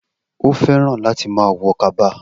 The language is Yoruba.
O fẹ́ràn láti má a wọ Kaba